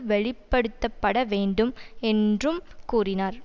வெளிப்படுத்தப்பட வேண்டும் என்றும் கூறினார்